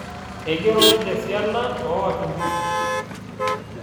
Eigero ninche esiana oo wakimbisi